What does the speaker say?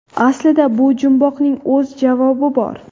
Aslida bu jumboqning o‘z javobi bor.